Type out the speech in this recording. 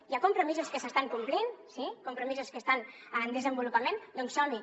hi ha compromisos que s’estan complint sí compromisos que estan en desenvolupament doncs som hi